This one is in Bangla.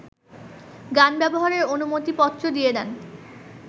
গান ব্যবহারের অনুমতিপত্র দিয়ে দেন